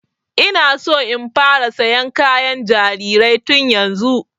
Ina so in fara sayan kayan jarirai tun yanzu